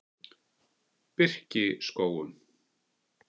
Birkiskógum